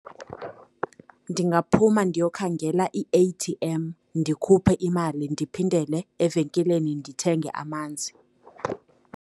Ndingaphuma ndiyokhangela i-A_T_M, ndikhuphe imali ndiphindele evenkileni ndithenge amanzi.